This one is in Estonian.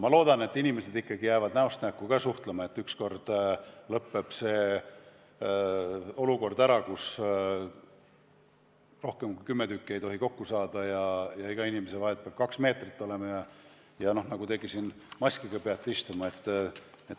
Ma loodan, et inimesed ikkagi jäävad näost näkku ka suhtlema ja et ükskord lõpeb see olukord ära, kus rohkem kui kümme inimest ei tohi kokku saada ja inimeste vahel peab kaks meetrit olema ja peab maskiga istuma, nagu teiegi siin istute.